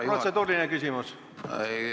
Kas protseduuriline küsimus?